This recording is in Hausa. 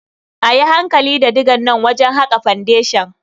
A yi hankali da digan nan wajen haƙa fendeshan.